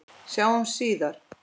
Sjáumst síðar.